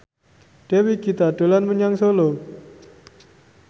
Dewi Gita dolan menyang Solo